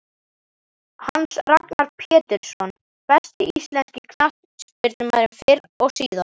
Hans Ragnar Pjetursson Besti íslenski knattspyrnumaðurinn fyrr og síðar?